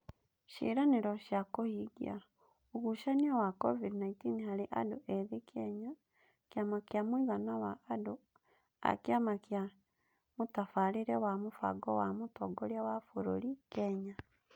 Ciĩranĩro cia Kũhingia: Ũgucania wa COVID-19 harĩ Andũ ethĩ Kenya, Kĩama kĩa Mũigana wa Andũ na Kĩama kĩa Mũtabarĩre na Mũbango wa Mũtongoria wa Bũrũri (Kenya).